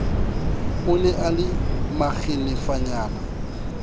o ne a le makgenefanyana